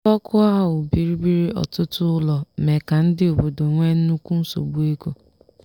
Ịkpọkụ̀à áhụ́ bìrìbìrì, ọtụtụ ụ́lọ̀ mee ka ndị ọ̀bọdọ nwee nnụ́kwụ́ nsogbó égò.